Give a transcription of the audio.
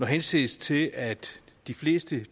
henses til at de fleste